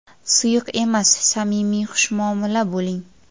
Suyuq emas, samimiy xushmuomala bo‘ling.